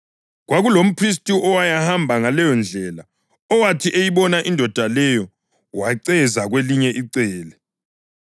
Kwakulomphristi owayehamba ngaleyondlela, owathi eyibona indoda leyo waceza kwelinye icele.